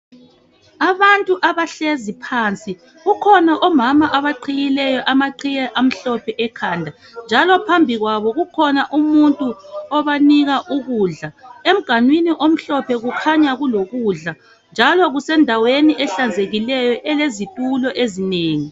Abantu abahlezi phansi , kukhona omama abaqhiyileyo amaqhiye amhlophe ekhanda njalo phambi kwabo kukhona umuntu obanika ukudla , emganwini omhlophe kukhanya kulokudla njalo kusendaweni ehlanzekikeyo elezitulo ezinengi